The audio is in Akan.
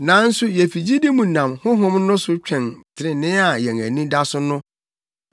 Nanso yefi gyidi mu nam Honhom no so twɛn trenee a yɛn ani da so no.